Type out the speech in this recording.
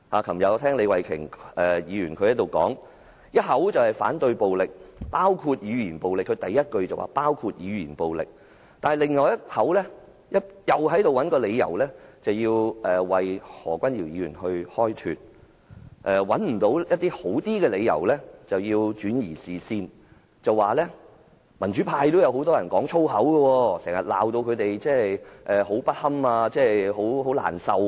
昨天李慧琼議員在此發言時，一方面表示反對暴力，第一句便說明是包括語言暴力，但另一方面卻又要找理由為何君堯議員開脫，當無法找到較好的理由時便轉移視線，指很多民主派人士也經常粗言穢語辱罵他們，令她們感到很難堪和難受。